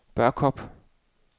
Børkop